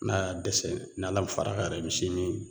N'a y'a dɛsɛ n'ala ma far'a kan yɛrɛ misi in bi